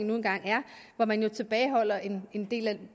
nu engang er hvor man jo tilbageholder en en del af